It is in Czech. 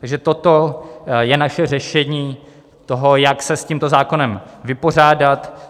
Takže toto je naše řešení toho, jak se s tímto zákonem vypořádat.